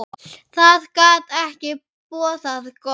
Það gat ekki boðað gott.